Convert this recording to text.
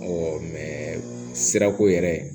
sirako yɛrɛ